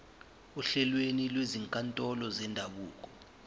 ohlelweni lwezinkantolo zendabuko